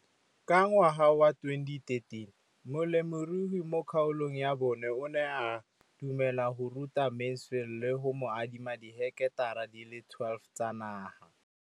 Ka ngwaga wa 2013, molemirui mo kgaolong ya bona o ne a dumela go ruta Mansfield le go mo adima di heketara di le 12 tsa naga.